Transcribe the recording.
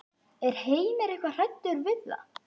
Er Heimir eitthvað hræddur við það?